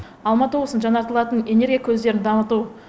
алматы облысының жаңартылатын энергия көздерін дамыту